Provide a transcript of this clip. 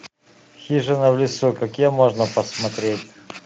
хижина в лесу какие можно посмотреть